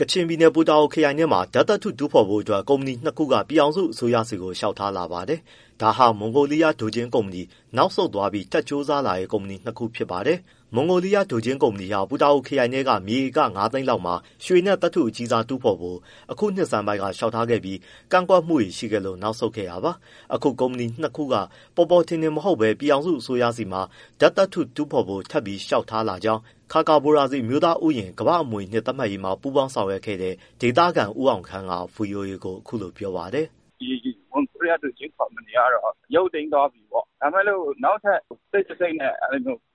ကချင်ပြည်နယ် ပူတာအိုခရိုင်ထဲမှာ ဓာတ်သတ္ထုတူးဖော်ဖို့အတွက် ကုမ္ပဏီ၂ခုက ပြည်ထောင်စုအစိုးရဆီကို လျှောက်ထားလာပါတယ်။ ဒါဟာ မွန်ဂိုလီးယား ဒိုဂျင်းကုမ္ပဏီ နောက်ဆုတ်သွားပြီး ထပ်ကြိုးစားလာတဲ့ ကုမ္ပဏီနှစ်ခု ဖြစ်ပါတယ်။ မွန်ဂိုလီးယားကုမ္ပဏီဟာ ပူတာအိုခရိုင်ထဲက မြေဧက ၅၀၀,၀၀၀ လောက်မှာ ရွှေနဲ့ သတ္ထုအကြီးစားရှာဖွေဖို့ အခုနှစ်ဆန်းပိုင်းကလျှောက်ထားပြီး ကန့်ကွက်မှုတွေရှိခဲ့လို့နောက်ဆုတ်ခဲ့တာပါ။ အခု ကုမ္ပကြီးနှစ်ခုက ပေါ်ပေါ်ထင်ထင်မဟုတ်ဘဲ ပြည်ထောင်စုအစိုးရဆီမှာ သတ္ထုစမ်းသပ်ဖို့ ထပ်ပြီး လျှောက်ထားကြောင်း ခါကာဘိုရာဇီ အမျိုးသားဥယာဉ် ကမ္ဘာ့အမွေအနှစ်သတ်မှတ်ရေးမှာ ပူးပေါင်း ဆောင်ရွက်ခဲ့တဲ့ ဒေသခံ ဦးအောင်ခမ်းက ဗွီအိုအေကို အခုလိုပြောပါတယ်။ “ ဒီမွန်ဂိုလီးယား ဒိုဂျင်းကုမ္ပဏီကတော့ ရုပ်သိမ်းသွားပြီပေါ့ ဒါပေမဲ့ နောက်ထပ် တိတ်တဆိတ်နဲ့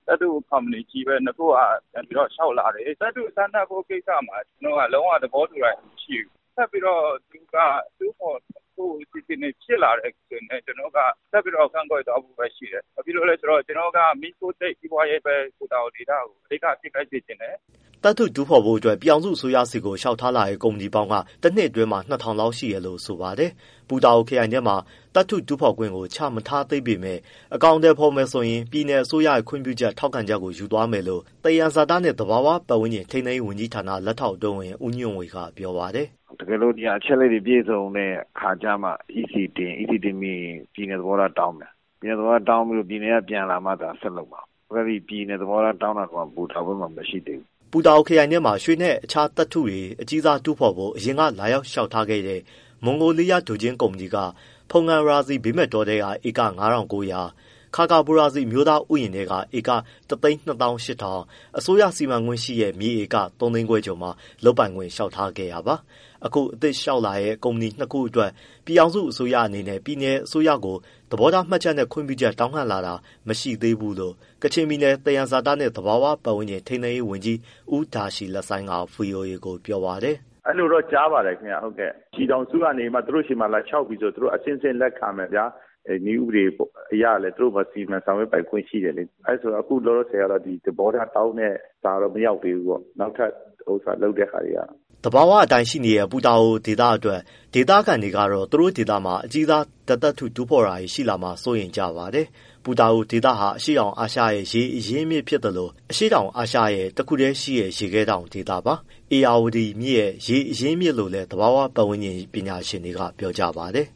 သတ္ထုကုမ္ပဏီကြီး၂ခုက ပြန်ပြီးတော့ လျှောက်လာတယ်။ သတ္ထုစမ်းသပ်ဖို့ကိစ္စမှာ ကျနော်တို့ကလုံးဝ သဘောတူတာတွေ မရှိဘူး။ ထပ်ပြီးတော့တူးဖော်ဖို့ အစီအစဉ်တွေဖြစ်လာတယ်ဆိုရင်လည်း ကျနော်တို့က ဆက်ပြီး ကန့်ကွက်သွားဖို့ပဲရှိတယ်။ ဘာဖြစ်လို့လဲဆိုတော့ ကျနော်တို့က မီးခိုးတိတ် စီးပွားရေးပဲ ပူတာအိုဒေသကို အဓိကဖြစ်စေချင်တယ်။” သတ္ထုတူးဖော်ခွင့်ပြုဖို့ ပြည်ထောင်စုအစိုးရဆီကို လျှောက်လာတဲ့ ကုမ္ပဏီပေါင်းကတော့ တနှစ်အတွင်းမှာ ၂၀၀၀ လောက်ရှိတယ်လို့ဆိုပါတယ်။ ပူတာအိုခရိုင်ထဲမှာ သတ္ထုတူးဖော်ခွင့်ကို မချပေးသေးပေမဲ့ အကောင်အထည်ဖော်မယ် ဆိုရင် ပြည်နယ်အစိုးရရဲ့ ခွင့်ပြုချက်၊ ထောက်ခံချက်ကို ယူသွားမယ်လို့ သယံဇာတနှင့် သဘာဝပတ်ဝန်းကျင် ထိန်းသိမ်းရေးဝန်ကြီးဌာန လက်ထောက်အတွင်းဝန် ဦးညွန့်ဝေက ပြောပါတယ်။ “ တကယ်လို့ဒီဟာက အချက်အလက်တွေပြည့်စုံတဲ့ အခါကျမှ EC တင်။ EC တင်ပြီးရင် ပြည်နယ် သဘောထား တောင်းမယ်။ ပြည်နယ်သဘောထား တောင်းပြီး ပြည်နယ်က ပြန်လာမှသာ ဆက်လုပ်မှာ။ အခုထိ ပြည်နယ်သဘောထား တောင်းတာ ပူတာအိုဘက်မှာ မရှိသေးဘူး။” ပူတာအိုခရိုင်ထဲမှာ ရွှေနဲ့ တခြားသတ္ထူအကြီးစားတူးဖော်ဖို့ အရင်ကလာလျှောက်ခဲ့တဲ့ မွန်ဂိုလီးယား ဒိုဂျင်းကုမ္ပဏီက ဖုန်ကန်ရာဇီ ဘေးမဲ့တောထဲက ဧက ၅၉၀၀၊ ခါကာဘိုရာဇီ အမျိုးသားဥယျာဉ်ထဲက ဧက ၁၂၈၀၀၀၊ အစိုးရစီမံခွင့်ရှိတဲ့မြေက ဧက ၃သိန်းခွဲကျော်မှာ လုပ်ခွင့်ရဖို့ လျှောက်ထားခဲ့တာပါ။ အခု အသစ်ထပ် လျှောက်လာတဲ့ ကုမ္ပဏီ၂ခုအတွက် ပြည်ထောင်စုအစိုးရကနေ ပြည်နယ်အစိုးရဆီကို သဘောထားမှတ်ချက်နဲ့ ခွင့်ပြုချက် တောင်းခံလာတာ မရှိသေးဘူးလို့ ကချင်ပြည်နယ် သယံဇာတနှင့် သဘာဝပတ်ဝန်းကျင် ထိန်းသိမ်းရေးဝန်ကြီး ဦးဒါရှီလဆိုင်းက ဗွီအိုအေကို ပြောပါတယ်။ “ အဲဒီလိုတော့ ကြားပါတယ် ။ ပြည်ထောင်စုက သူတို့ဆီမှာ လာလျှောက်မယ်ဆိုရင် အဆင့်ဆင့်လက်ခံမယ်ဗျာ နည်းဥပဒေအရလည်း သူတို့ပဲစီမံ ဆောင်ရွက်ပိုင်ခွင့်ရှိတယ်လေ။ အခုလောလောဆယ်ကတော့ သဘောထားတောင်းတဲ့ စာတော့ မရောက်သေးဘူးပေါ့ နောက်ထပ်လုပ်တဲ့ဟာတွေက” သဘာဝအတိုင်းရှိနေတဲ့ ပူတာအိုဒေသအတွက် ဒေသခံတွေကတော့ သူတို့ဒေသမှာ အကြီးစား သတ္ထုတူးဖော်တာတွေရှိလာမှာစိုးရိမ်ကြပါတယ်။ ပူတာအိုဒေသဟာ အရှေကတောင်အာရှရဲ့ ရေအရင်းအမြစ် ဖြစ်သလို၊ အရှေကတောင်အာရှရဲ့ တခုတည်းရှိတဲ့ရေခဲတောင်ဒေသပါ။ ဧရာဝတီရဲ့ ရေအရင်းအမြစ်လို့လည်း သဘာဝပတ်ဝန်းကျင် ပညာရှင်တွေက ပြောပါတယ်